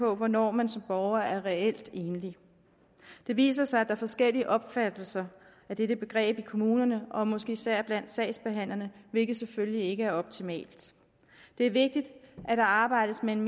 om hvornår man som borger er reelt enlig det viser sig at der er forskellige opfattelser af dette begreb i kommunerne og måske især blandt sagsbehandlerne hvilket selvfølgelig ikke er optimalt det er vigtigt at der arbejdes med en